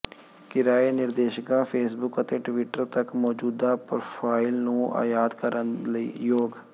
ਕਿਰਾਏ ਨਿਰਦੇਸ਼ਿਕਾ ਫੇਸਬੁੱਕ ਅਤੇ ਟਵਿੱਟਰ ਤੱਕ ਮੌਜੂਦਾ ਪਰੋਫਾਈਲ ਨੂੰ ਆਯਾਤ ਕਰਨ ਲਈ ਯੋਗ